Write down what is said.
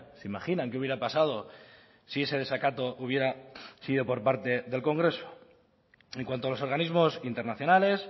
se imaginan qué hubiera pasado si ese desacato hubiera sido por parte del congreso en cuanto a los organismos internacionales